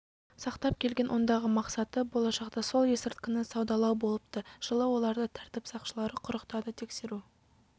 сақтап келген ондағы мақсаты болашақта сол есірткіні саудалау болыпты жылы оларды тәртіп сақшылары құрықтады тексеру